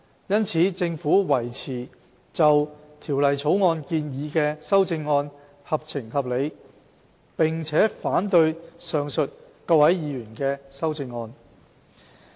因此，政府維持就《條例草案》建議的修正案合情合理，並反對上述各位議員的修正案。